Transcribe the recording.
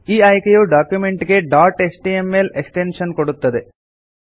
ಈ ಆಯ್ಕೆಯು ಡಾಕ್ಯುಮೆಂಟ್ ಗೆ ಡಾಟ್ ಎಚ್ಟಿಎಂಎಲ್ ಎಕ್ಸ್ಟೆನ್ಶನ್ ಕೊಡುತ್ತದೆ